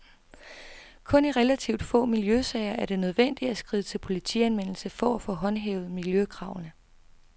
Kun i relativt få miljøsager er det nødvendigt at skride til politianmeldelse for at få håndhævet miljøkravene.